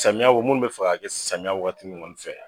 Samiya o munnu bɛ fɛ ka kɛ samiya wagati nunnu kɔni fɛ